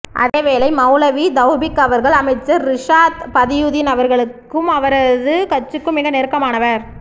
அதேவேளை மௌலவி தௌபீக் அவர்கள் அமைச்சர் றிசாத் பதியுதீன் அவர்களுக்கு அவரது கட்சிக்கும் மிக நெருக்கமானவர்